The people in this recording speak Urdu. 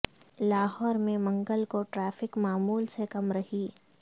لاہور میں منگل کو ٹریفک معمول سے کم رہی